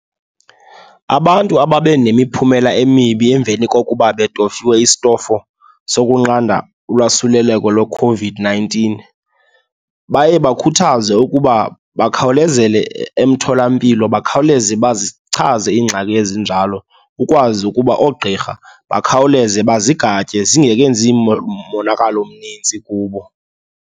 Abantu ababe nemiphumela emibi emveni kokuba betofiwe isitofu sokunqanda ulwasuleleko lweCOVID-nineteen baye bakhuthazwe ukuba bakhawulezele emtholampilo, bakhawuleze bazichaze iingxaki ezinjalo ukwazi ukuba oogqirha bakhawuleze bazigatye zingekenzi monakalo omninzi kubo.